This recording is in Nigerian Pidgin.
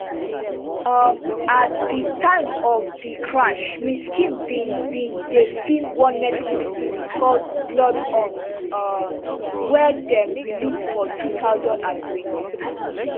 um at di time of di crash miss kim bin bin dey feem one netflix series called bloodhounds um wey dem release for two thousand and twenty-three